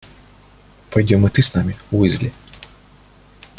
пойдём и ты с нами уизли